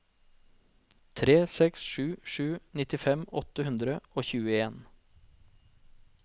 tre seks sju sju nittifem åtte hundre og tjueen